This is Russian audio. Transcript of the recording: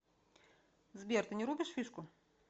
сбер ты не рубишь фишку